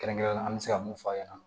Kɛrɛnkɛrɛnnenya an bɛ se ka mun f'a ɲɛna